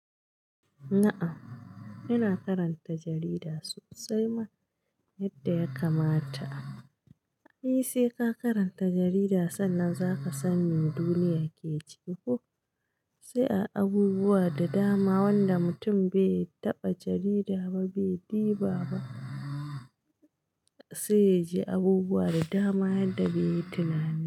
Na'am, ina karanta jarida sosai ma, yadda ya kamata. Ai sai ka karanta jarida sannan zaka san me duniya ke ciki ko? Sai ai abubuwa da dama wanda mutum bai taɓa jarida ba bai diba ba, sai yaji abubuwa da dama yadda baiyi tunani ba.